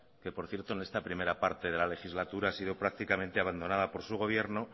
que por cierto en esta primera parte de la legislatura ha sido prácticamente abandonada por su gobierno